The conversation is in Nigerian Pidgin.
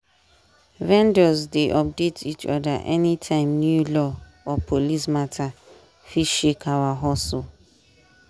vendors dey update each other anytime new law or police matter fit shake our hustle.